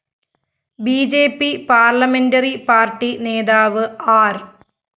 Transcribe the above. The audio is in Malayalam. B J P parliamentary party നേതാവ് ആര്‍